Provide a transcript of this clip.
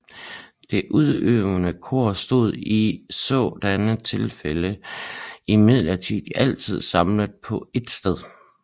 Det udøvende kor stod i sådanne tilfælde imidlertid altid samlet på ét sted